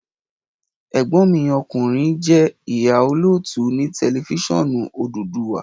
Ẹ̀gbọ́n mi ọkùnrin je ìhà - òlótú ni tẹlifiṣionu Odùduwà